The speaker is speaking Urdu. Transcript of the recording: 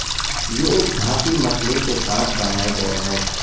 یہ ایک دھاتی مسئلے کے ساتھ بنایا گیا ہے